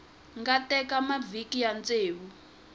nga teka mavhiki ya ntsevu